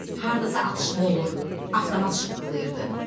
Hardasa atışma olur, avtomat şıqqılıyırdı.